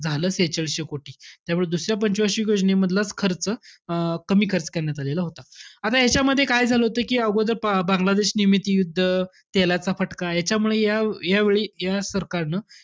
झालं शेहेचाळीशे कोटी. त्यामुळे दुसऱ्या पंच वार्षिक योजनेमधलाच खर्च अं कमी खर्च करण्यात आलेला होता. आता यांच्यामध्ये काय झालं होतं कि, अगोदर प~ बांगलादेश निर्मित युद्ध, तेलाचा फटका याच्यामुळे या~ यावेळी या सरकारनं,